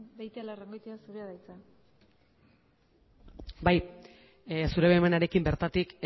ez beitialarrangoitia zurea da hitza bai zure baimenarekin bertatik